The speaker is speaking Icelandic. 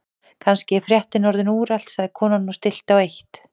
Kannski er fréttin orðin úrelt sagði konan og stillti á eitt.